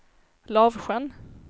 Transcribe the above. Lavsjön